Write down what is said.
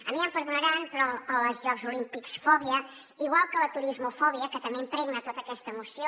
a mi ja em perdonaran però la jocs olímpics fòbia igual que la turismofòbia que també impregna tota aquesta moció